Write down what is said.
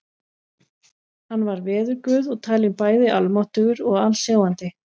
Hann var veðurguð og talinn bæði almáttugur og alsjáandi.